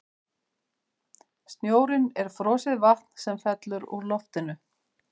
Snjórinn er frosið vatn sem fellur úr loftinu.